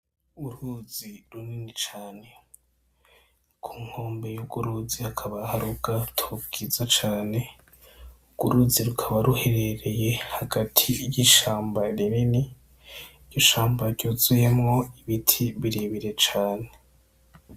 Uruzi runini cane. Ku nkombe yurwo ruzi hakaba hari ubgato bgiza cane urwo ruzi rukaba ruherereye hagati yishamba rinini, ishamba ryuzuyemwo ibiti birebire cane .